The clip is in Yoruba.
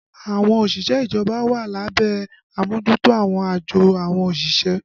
Àwọn òṣìṣẹ́ ìjọba wà lábẹ́ àmójútó àwọn àjọ àwọn òṣìṣẹ́